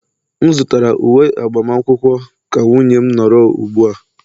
M zụtara uwe agbamakwụkwọ ka nwunye m nọrọ ugbua